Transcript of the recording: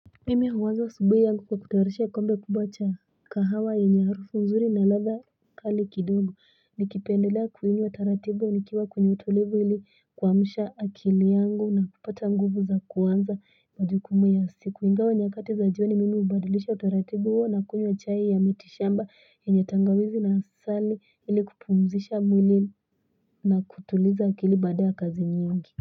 Mimi huanza asubuhi yangu kwa kutayarisha kikombe kubwa cha kahawa yenye harufu nzuri na ladha kali kidogo. Nikipendelea kuinywa taratibu nikiwa kwenye utulivu ili kuamsha akili yangu na kupata nguvu za kuanza majukumu ya siku ingawa nyakati za jioni mimi hubadilisha utaratibu huo na kunywa chai ya mitishamba yenye tangawizi na asali ili kupumzisha mwili na kutuliza akili baada ya kazi nyingi.